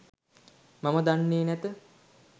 මම දන්නේ නැත.